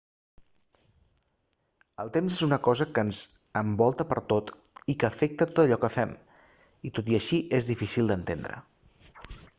el temps és una cosa que ens envolta pertot i que afecta tot allò que fem i tot i així és dificil d'entendre